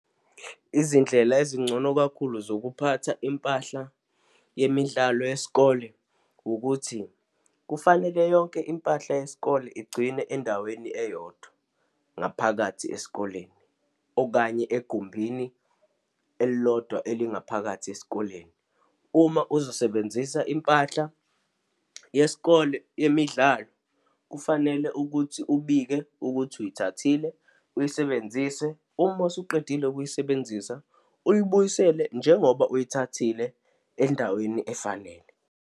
Izindlela ezingcono kakhulu zokuphatha impahla yemidlalo yesikole, ukuthi kufanele yonke impahla yesikole igcinwe endaweni eyodwa, ngaphakathi esikoleni, okanye egumbini elilodwa elingaphakathi esikoleni. Uma uzosebenzisa impahla yesikole yemidlalo, kufanele ukuthi ubike ukuthi uyithathile, uyisebenzise, uma usuqedile ukuyisebenzisa uyibuyisele, njengoba uyithathile, endaweni efanele.